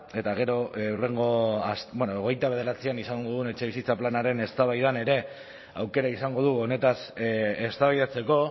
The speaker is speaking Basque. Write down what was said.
eta gero hurrengo bueno hogeita bederatzian izango dugun etxebizitza planaren eztabaidan ere aukera izango dugu honetaz eztabaidatzeko